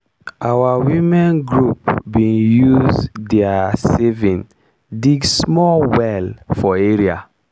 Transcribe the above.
our women group bin use diir saving dig small well for area.